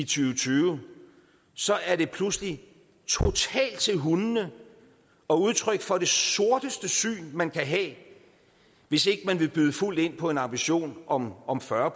tyve tyve så er det pludselig totalt til hundene og udtryk for det sorteste syn man kan have hvis ikke man vil byde fuldt ind på en ambition om om fyrre